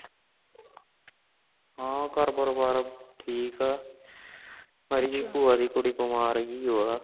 ਹਾਂ ਘਾਰ ਪਰਿਵਾਰ ਸਬ ਠੀਕ ਹੈ ,ਪਰ ਮੇਰੀ ਪੁਆਂ ਦੀ ਕੁੜੀ ਬਿਮਾਰ ਹਾ